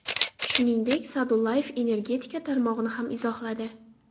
Shuningdek, Sa’dullayev energetika tarmog‘ini ham izohladi.